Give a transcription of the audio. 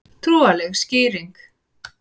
Trúarlega skýringin